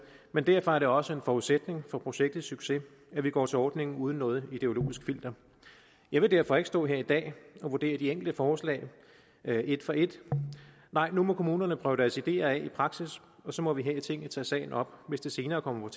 og derfor er det også en forudsætning for projektets succes at vi går til ordningen uden noget ideologisk filter jeg vil derfor ikke stå her i dag og vurdere de enkelte forslag et for et nej nu må kommunerne prøve deres ideer af i praksis og så må vi her i tinget tage sagen op hvis det senere kommer